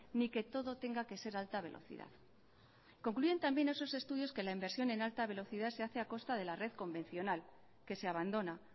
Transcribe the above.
ni que todo tenga que ser alta velocidad concluyen también esos estudios que la inversión en alta velocidad se hace a costa de la red convencional que se abandona